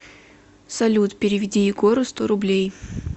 салют переведи егору сто рублей